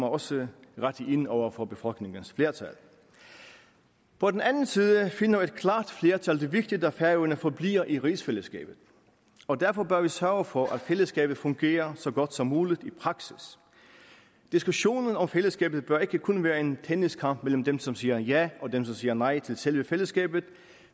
også rette ind over for befolkningens flertal på den anden side finder et klart flertal det vigtigt at færøerne forbliver i rigsfællesskabet og derfor bør vi sørge for at fællesskabet fungerer så godt som muligt i praksis diskussionen om fællesskabet bør ikke kun være en tenniskamp mellem dem som siger ja og dem som siger nej til selve fællesskabet